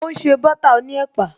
O n se butter oní ẹ̀pà